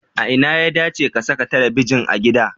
A ina ya dace a saka talabijin a gida?